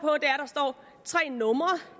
og tre numre